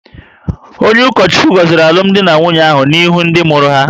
Onye ụkọchukwu goziri alumdi na nwunye ahụ n'ihu ndị mụrụ ha